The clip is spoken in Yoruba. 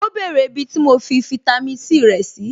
Ó bèrè ibi tí mo fi fitami C rẹ̀ sí.